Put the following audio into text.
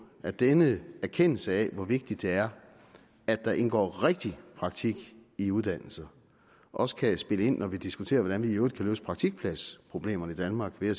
at denne erkendelse af hvor vigtigt det er at der indgår rigtig praktik i uddannelser også kan spille ind når vi diskuterer hvordan vi i øvrigt kan løse praktikpladsproblemerne i danmark ved at